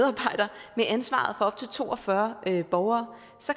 ansvaret op til to og fyrre borgere